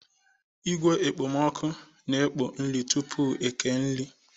Igwe okpomoọkụ na-ekpo nri tupu eke nri.